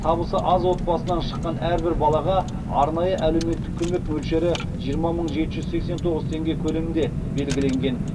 табысы аз отбасынан шыққан әрбір балаға арнайы әлеуметтік көмек мөлшері жиырма мың жеті жүз сексен тоғыз теңге көлемінде белгіленген